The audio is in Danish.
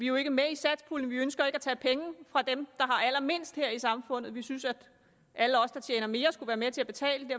jo ikke med i satspuljen vi ønsker ikke at tage penge fra dem har allermindst her i samfundet vi synes at alle os der tjener mere skulle være med til at betale og